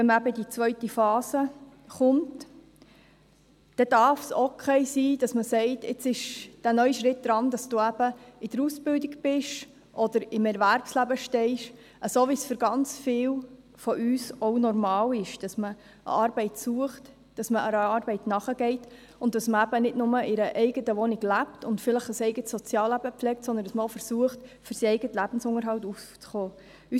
Wenn die zweite Phase kommt, darf es okay sein, dass man sagt: «Jetzt kommt ein neuer Schritt, bei dem du in der Ausbildung bist oder im Erwerbsleben stehst» – so wie es für ganz viele von uns auch normal ist, dass man eine Arbeit sucht, einer Arbeit nachgeht und dass man nicht nur in einer eigenen Wohnung lebt und vielleicht ein eigenes Sozialleben pflegt, sondern dass man auch für den eigenen Lebensunterhalt aufzukommen versucht.